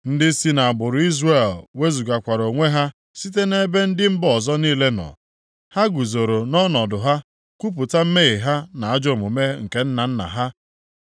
Ndị si nʼagbụrụ Izrel wezugakwara onwe ha site nʼebe ndị mba ọzọ niile nọ. Ha guzoro nʼọnọdụ ha kwupụta mmehie ha na ajọ omume nke nna nna ha.